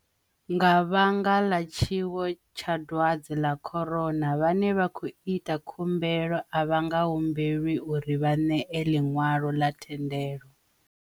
Nga vhanga ḽa tshiwo tsha dwadze ḽa corona, vhane vha khou ita khumbelo a vha nga humbelwi uri vha ṋee ḽinwalo la thendelo.